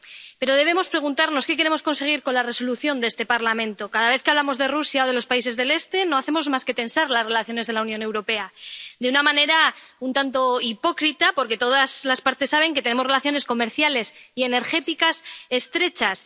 Pero debemos preguntarnos qué queremos conseguir con la Resolución de este Parlamento. Cada vez que hablamos de Rusia o de los países del Este no hacemos más que tensar las relaciones de la Unión Europea, de una manera un tanto hipócrita porque todas las partes saben que tenemos relaciones comerciales y energéticas estrechas